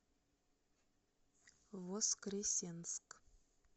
воскресенск